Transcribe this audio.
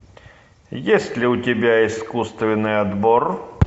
есть ли у тебя искусственный отбор